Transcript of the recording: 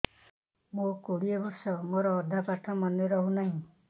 ମୋ କୋଡ଼ିଏ ବର୍ଷ ମୋର ଅଧା ପାଠ ମନେ ରହୁନାହିଁ